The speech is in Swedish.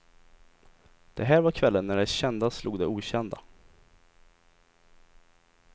Det här var kvällen när det kända slog det okända.